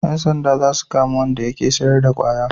Yan sanda za su kama Wanda yake sayar da kwaya